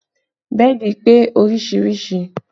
Bẹ́ẹ̀dì pé oríṣiríṣi